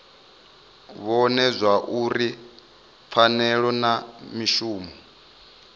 vhone zwauri pfanelo na mishumo